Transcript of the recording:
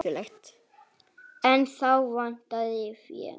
En þá vantaði fé.